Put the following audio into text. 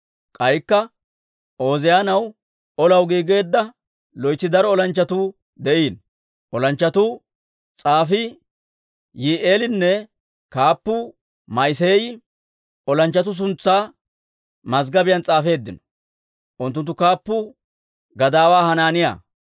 K'aykka Ooziyaanaw olaw giigeedda loytsi daro olanchchatuu de'iino. Olanchchatuu s'aafii Yi'i'eelinne kaappuu Ma'iseeyi olanchchatuu suntsaa mazggobiyaan s'aafeeddino. Unttunttu kaappuu gadaawaa Hanaaniyaa.